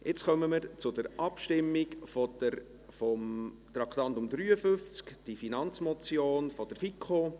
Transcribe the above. Jetzt kommen wir zur Abstimmung zum Traktandum 53: die Finanzmotion der FiKo.